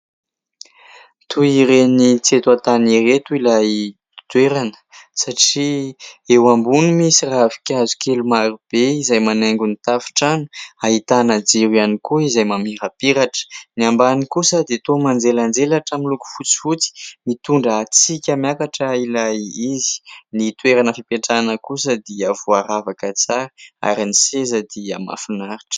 Toy ireny tsy eto an-tany ireto ilay toerana satria eo ambony misy ravinkazo kely maro be izay manaingo ny tafon-trano, ahitana jiro ihany koa izay mamirapiratra, ny ambany kosa dia toa manjelanjelatra aminy loko fotsifotsy mitondra hatsika miakatra ilay izy, ny toerana fipetrahana kosa dia voaravaka tsara ary ny seza dia mahafinaritra.